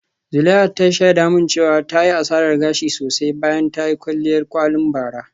Zuleihat ta shaida min cewa ta yi asarar gashi sosai bayan ta yi kwalliyar kwalin bara.